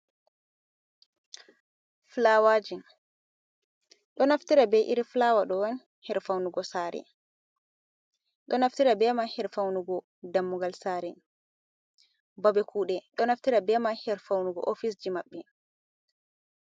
Fulaawaaji, ɗo naftira bee iri fulaawa ɗo her fawnugo saare, ɗo naftira bee man her fawnugo dammugal saare, babe kuuɗe ɗo naftira bee man her fawnugu oofisji maɓɓe.